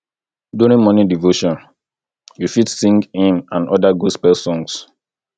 during morning devotion you fit sing hymn and oda gospel songs